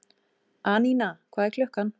Anína, hvað er klukkan?